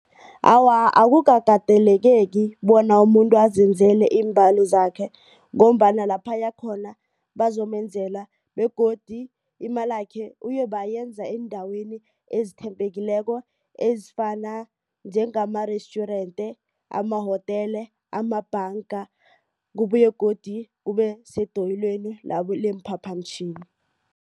Awa akukakateleleki bona umuntu azenzela iimbalo zakhe. Ngombana lapha ayakhona bazomenzela begodu imalakhe uyoba ayenza eendaweni ezethembekileko ezifana njengama-restjurente, amahotela, amabhanga kubuye godu kube sedoyelweni leemphaphamtjhini.